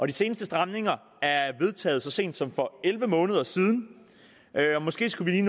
de seneste stramninger er vedtaget så sent som for elleve måneder siden måske skulle